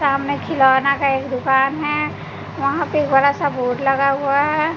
सामने खिलौना का एक दुकान है वहां पे एक बड़ा सा बोर्ड लगा हुआ है।